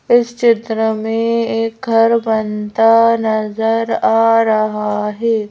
इस चित्र मे एक घर बनता नज़र आ रहा है।